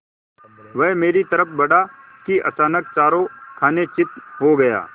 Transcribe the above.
वह मेरी तरफ़ बढ़ा कि अचानक चारों खाने चित्त हो गया